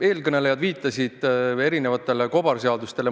Eelkõnelejad viitasid erinevatele kobarseadustele.